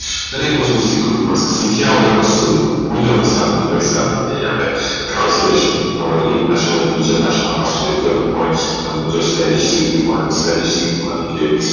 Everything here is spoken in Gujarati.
દરેક વસ્તુ શીખવી પડશે શીખ્યા વગર કશું નાઈ મળે કોઈ તમને સામેથી પૈસા નય આપે translation તમારે એક ભાષા માંથી બીજી ભાષા માં translat કરવું હોઈ તમને જો spenish શીખવી હોઈ તો spenish શીખવની કે